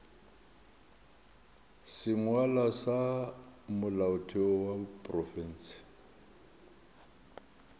sengwalwa sa molaotheo wa profense